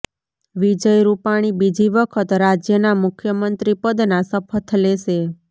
વિજય રૂપાણી બીજી વખત રાજ્યના મુખ્યમંત્રી પદના શપથ લેશે